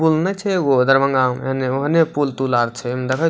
पूल नै छे एगो दरभंगा में एने ओने पूल तूल आर छे देखई --